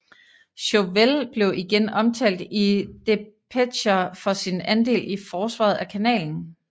Chauvel blev igen omtalt i depecher for sin andel i forsvaret af kanalen